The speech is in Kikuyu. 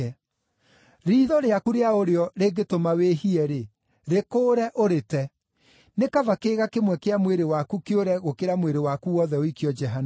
Riitho rĩaku rĩa ũrĩo rĩngĩtũma wĩhie-rĩ, rĩkũũre, ũrĩte. Nĩ kaba kĩĩga kĩmwe kĩa mwĩrĩ waku kĩũre gũkĩra mwĩrĩ waku wothe ũikio Jehanamu.